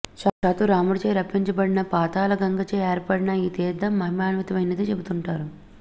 సాక్షాత్తు రాముడిచే రప్పించబడిన పాతాళ గంగచే ఏర్పడిన ఈ తీర్థం మహిమాన్వితమైనదని చెబుతుంటారు